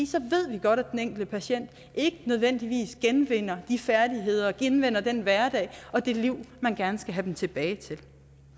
så ved vi godt at den enkelte patient ikke nødvendigvis genvinder de færdigheder og genvinder den hverdag og det liv man gerne skal have den pågældende tilbage til